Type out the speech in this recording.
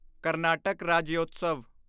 Karnataka Rajyotsava